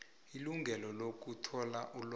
ilungelo lokuthola ilwazi